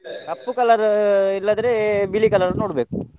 bgSpeach ಕಪ್ಪು colour ಇಲ್ಲದ್ರೆ ಬಿಳಿ colour ನೋಡ್ಬೇಕು.